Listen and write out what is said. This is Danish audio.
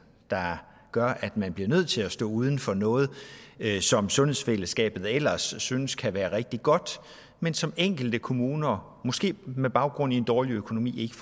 der gør at man bliver nødt til at stå uden for noget som sundhedsfællesskabet ellers synes kan være rigtig godt men som enkelte kommuner måske med baggrund i en dårlig økonomi ikke